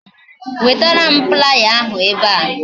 Wetaram playa ahu ebe a